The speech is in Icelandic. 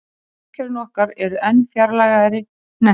í sólkerfinu okkar eru enn fjarlægari hnettir